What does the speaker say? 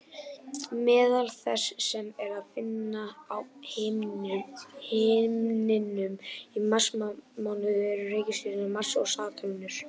Meðal þess sem er að finna á himninum í marsmánuði eru reikistjörnurnar Mars og Satúrnus.